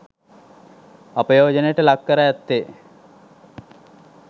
අපයෝජනයට ලක් කර ඇත්තේ